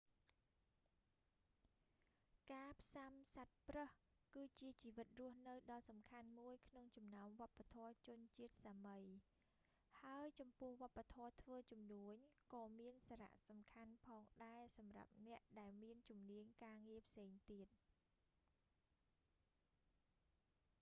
ការផ្សាំសត្វប្រើស គឺជាជីវិតរស់នៅដ៏សំខាន់មួយក្នុងចំណោមវប្បធម៌ជនជាតិសាមី ហើយចំពោះវប្បធម៌ធ្វើជំនួញ ក៏មានសារៈសំខាន់ផងដែរសម្រាប់អ្នកដែលមានជំនាញការងារផ្សេងទៀត